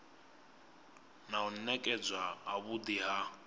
na u nekedzwa havhui ha